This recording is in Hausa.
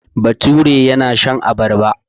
Bature yana shan abarba.